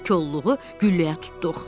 Kolluğu gülləyə tutduq.